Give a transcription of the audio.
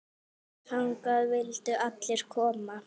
Þangað vildu allir koma.